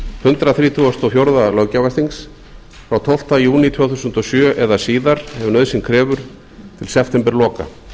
hundrað þrítugasta og fjórða löggjafarþings frá tólfta júní tvö þúsund og sjö eða síðar ef nauðsyn krefur til septemberloka